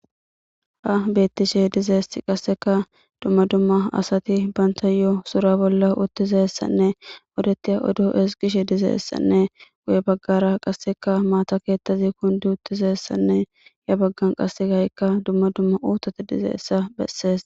Ha beyishin dizaysati qaseka duma duma asati bantayo sura bollauttizaysanne osetiza oddo ezgishe dizaysanne guye bagara guye bagara qase maata kethazi kundi uttidaysanne yabagan qaseka duma duma uthati dizaysa besses.